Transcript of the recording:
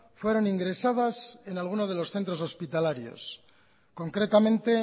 fueron ingresadas en alguno de los centros hospitalarios concretamente